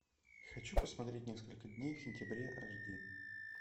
хочу посмотреть несколько дней в сентябре аш ди